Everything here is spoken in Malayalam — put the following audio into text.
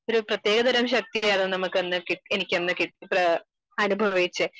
ഒരു പ്രത്യേക തരംബി ശക്തിയാണ് നമുക്കാണ് , എനിക്കന്നു അനുഭവിച്ചേ